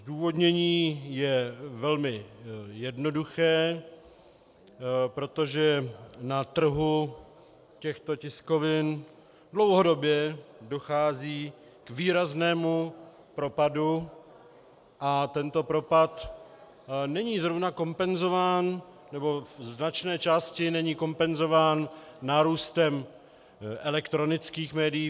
Zdůvodnění je velmi jednoduché, protože na trhu těchto tiskovin dlouhodobě dochází k výraznému propadu a tento propad není zrovna kompenzován, nebo ze značné části není kompenzován nárůstem elektronických médií.